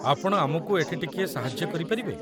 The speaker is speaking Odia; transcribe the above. ଆପଣ ଆମକୁ ଏଠି ଟିକିଏ ସାହାଯ୍ୟ କରିପାରିବେ?